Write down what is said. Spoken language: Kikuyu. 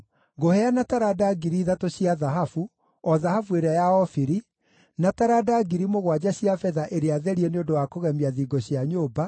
ngũheana taranda ngiri ithatũ cia thahabu, o thahabu ĩrĩa ya Ofiri, na taranda ngiri mũgwanja cia betha ĩrĩa therie nĩ ũndũ wa kũgemia thingo cia nyũmba,